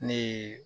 Ne ye